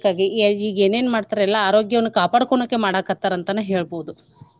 A ಈಗ್ ಏನೇನ್ ಮಾಡ್ತಾರ್ ಎಲ್ಲಾ ಆರೋಗ್ಯವನ್ನ ಕಾಪಾಡ್ಕೊನೋಕೆ ಮಾಡಕತ್ತಾರ ಅಂತನ ಹೇಳ್ಬೋದು.